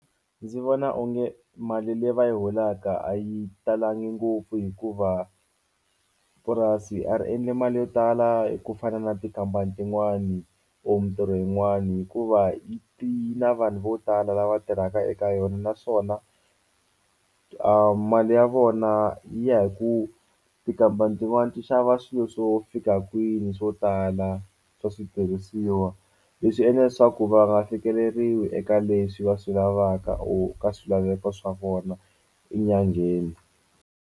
Ndzi vona onge mali leyi va yi holaka a yi talangi ngopfu hikuva purasi a ri endli mali yo tala hi ku fana na tikhampani tin'wani or mintirho yin'wani hikuva yi ti yi na vanhu vo tala lava tirhaka eka yona naswona a mali ya vona yi ya hi ku tikhampani tin'wani ti xava swilo swo fika kwini swo tala swa switirhisiwa leswi endla leswaku va nga fikeleriwi eka leswi va swi lavaka or ka swilaveko swa vona enyangheni.